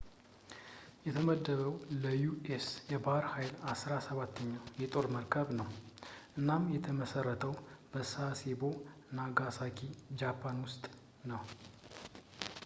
የተመደበው ለዩ.ኤስ. የባህር ኃይል አስራ ሰባተኛው የጦር መርከብ ነው፤ እናም የተመሰረተው በሳሴቦ፣ ናጋሳኪ ጃፓን ውስጥ ነው